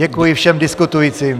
Děkuji všem diskutujícím.